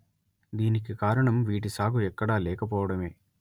దీనికి కారణం వీటి సాగు ఎక్కడా లేకపోవడమే